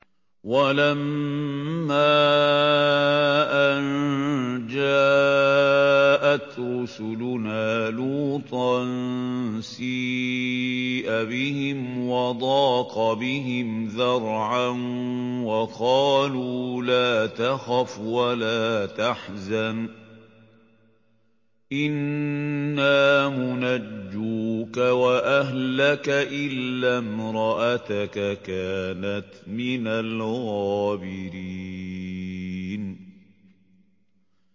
وَلَمَّا أَن جَاءَتْ رُسُلُنَا لُوطًا سِيءَ بِهِمْ وَضَاقَ بِهِمْ ذَرْعًا وَقَالُوا لَا تَخَفْ وَلَا تَحْزَنْ ۖ إِنَّا مُنَجُّوكَ وَأَهْلَكَ إِلَّا امْرَأَتَكَ كَانَتْ مِنَ الْغَابِرِينَ